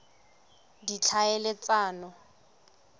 ditlhaeletsano